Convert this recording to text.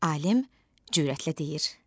Alim cürətlə deyir: